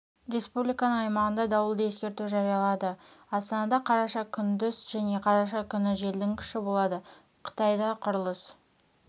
республиканың аймағында дауылды ескерту жариялады астанада қараша күндіз және қараша күні желдің күші болады қытайда құрылыс